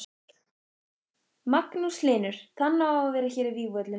heyrði ég glöggt, að hann hafði andstyggð á Gyðingaofsóknunum.